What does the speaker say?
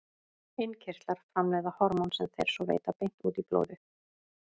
Innkirtlar framleiða hormón sem þeir svo veita beint út í blóðið.